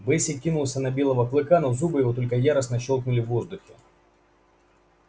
бэсик кинулся на белого клыка но зубы его только яростно щёлкнули в воздухе